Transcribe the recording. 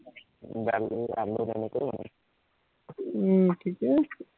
উম ঠিকেই আছে